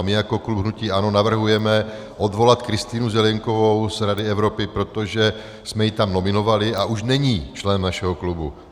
A my jako klub hnutí ANO navrhujeme odvolat Kristýnu Zelienkovou z Rady Evropy, protože jsme ji tam nominovali a už není členem našeho klubu.